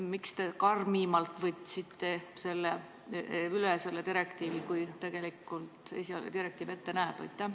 Miks te võtsite selle direktiivi üle karmimalt, kui esialgne direktiiv ette näeb?